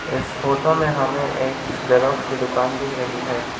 इस फोटो में हमें एक जेरॉक्स की दुकान देख रही है।